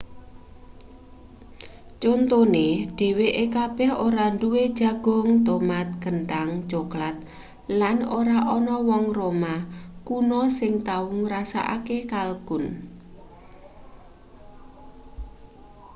contone dheweke kabeh ora duwe jagung tomat kenthang coklat lan ora ana wong roma kuno sing tau ngrasakake kalkun